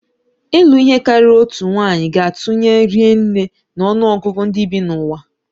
Ịlụ ihe karịrị otu nwanyị ga-atụnye ri nne na ọnụ ọgụgụ ndị bi n'ụwa.